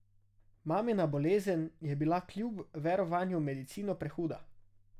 Mamina bolezen je bila kljub verovanju v medicino prehuda.